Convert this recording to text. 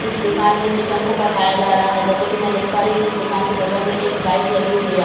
इस दुकान में चिकन को पकाया जा रहा है जैसा कि मैं देख पा रही हूं इस दुकान के बगल में एक बाइक लगी हुई है जैसा कि मैं देख--